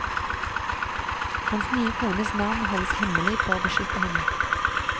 Hans nye kones navn holdes hemmelig for å beskytte henne.